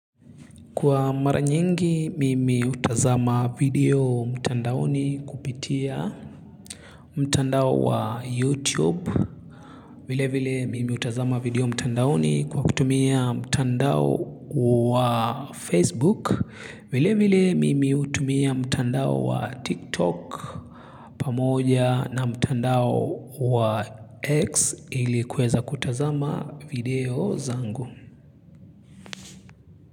Kwa mara nyingi mimi hutazama video mtandaoni kupitia mtandao wa YouTube. Vile vile mimi hutazama video mtandaoni kwa kutumia mtandao wa Facebook. Vile vile mimi hutumia mtandao wa TikTok pamoja na mtandao wa X ili kuweza kutazama video zangu.